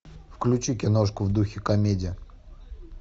включи киношку в духе комедия